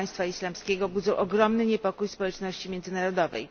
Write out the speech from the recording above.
Państwa Islamskiego budzą ogromny niepokój społeczności międzynarodowej.